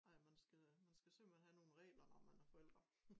Ej man skal man skal simpelthen have nogen regler når man er forældre